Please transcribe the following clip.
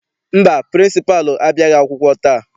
Mba, pịrịnsịpalụ abịaghị akwụkwọ taa.